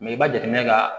i bɛ jateminɛ ka